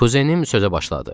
Kuzənim sözə başladı.